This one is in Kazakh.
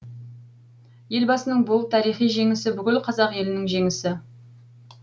елбасының бұл тарихи жеңісі бүкіл қазақ елінің жеңісі